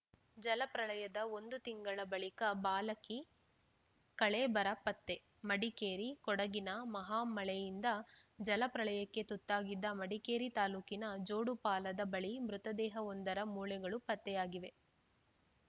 ಜಲಪ್ರಳಯದ ಒಂದು ತಿಂಗಳ ಬಳಿಕ ಬಾಲಕಿ ಕಳೇಬರ ಪತ್ತೆ ಮಡಿಕೇರಿ ಕೊಡಗಿನ ಮಹಾಮಳೆಯಿಂದ ಜಲ ಪ್ರಳಯಕ್ಕೆ ತುತ್ತಾಗಿದ್ದ ಮಡಿಕೇರಿ ತಾಲೂಕಿನ ಜೋಡುಪಾಲದ ಬಳಿ ಮೃತದೇಹವೊಂದರ ಮೂಳೆಗಳು ಪತ್ತೆಯಾಗಿದೆ